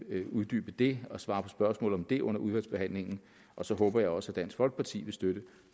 uddybe det og svare på spørgsmål om det under udvalgsbehandlingen og så håber jeg også at dansk folkeparti vil støtte